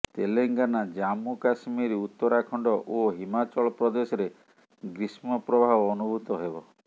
Telangana Jammu Kashmir Uttarakhand ଓ ହିମାଚଳ ପ୍ରଦେଶରେ ଗ୍ରୀଷ୍ମ ପ୍ରବାହ ଅନୁଭୂତ ହେବ